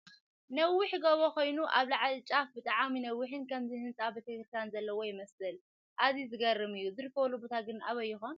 ነዊሕ ጎቦ ኾይኑ ኣብ ላዕሊ ጫፍ ብጣዕሚ ነዊሕን ከምዚ ህንፃ ቤተክርስትያን ዘለዎ ይመስል ኣዚዩ ዝገርም እዩ ፡ ዝርከበሉ ቦታ ግን ኣበይ ይኾን ?